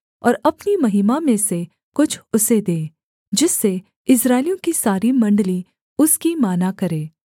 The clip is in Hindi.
और अपनी महिमा में से कुछ उसे दे जिससे इस्राएलियों की सारी मण्डली उसकी माना करे